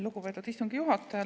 Lugupeetud istungi juhataja!